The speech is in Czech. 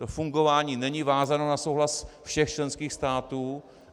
To fungování není vázáno na souhlas všech členských států.